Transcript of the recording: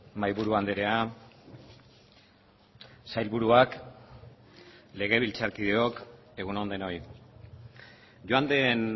mahaiburu andrea sailburuak legebiltzarkideok egun on denoi joan den